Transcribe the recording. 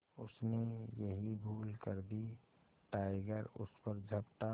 उसने यही भूल कर दी टाइगर उस पर झपटा